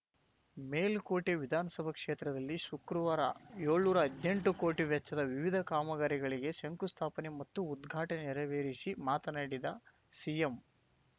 ಮೇಲುಕೋಟೆ ವಿಧಾನಸಭಾ ಕ್ಷೇತ್ರದಲ್ಲಿ ಶುಕ್ರವಾರ ಏಳ್ನೂರಾ ಹದ್ನೆಂಟು ಕೋಟಿ ವೆಚ್ಚದ ವಿವಿಧ ಕಾಮಗಾರಿಗಳಿಗೆ ಶಂಕುಸ್ಥಾಪನೆ ಮತ್ತು ಉದ್ಘಾಟನೆ ನೆರವೇರಿಸಿ ಮಾತನಾಡಿದ ಸಿಎಂ